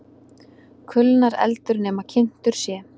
Kulnar eldur nema kyntur sé.